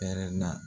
Pɛrɛnna